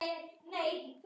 Bíllinn hans bilaði.